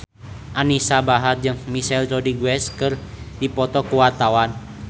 Anisa Bahar jeung Michelle Rodriguez keur dipoto ku wartawan